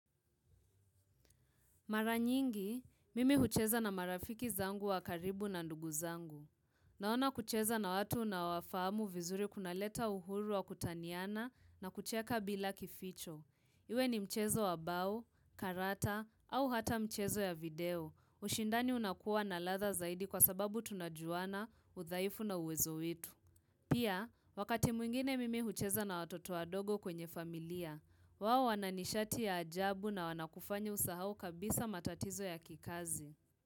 Mara nyingi, mimi hucheza na marafiki zangu wakaribu na ndugu zangu. Naona kucheza na watu naowafahamu vizuri kunaleta uhuru wa kutaniana na kucheka bila kificho. Iwe ni mchezo wabao, karata au hata mchezo ya video. Ushindani unakuwa na ladha zaidi kwa sababu tunajuana, udhaifu na uwezo wetu. Pia, wakati mwingine mimi hucheza na watoto wadogo kwenye familia, wao wananishati ya ajabu na wanakufanya usahau kabisa matatizo ya kikazi.